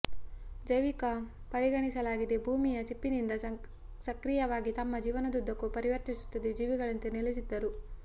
ಜೈವಿಕ ಪರಿಗಣಿಸಲಾಗಿದೆ ಭೂಮಿಯ ಚಿಪ್ಪಿನಿಂದ ಸಕ್ರಿಯವಾಗಿ ತಮ್ಮ ಜೀವನದುದ್ದಕ್ಕೂ ಪರಿವರ್ತಿಸುತ್ತದೆ ಜೀವಿಗಳಂತೆ ನೆಲೆಸಿದ್ದರು